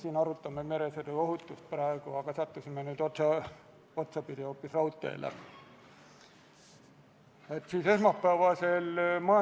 Tõepoolest, ka see otsuse eelnõu on üks missioonide paketi eelnõudest ja menetluslikud kuupäevad on täpselt samad, sellepärast ei hakka ma neid teile uuesti ette lugema.